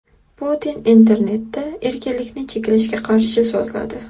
Putin internetda erkinlikni cheklashga qarshi so‘zladi.